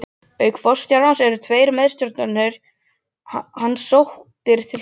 Auk forstjórans voru tveir meðstjórnendur hans sóttir til saka.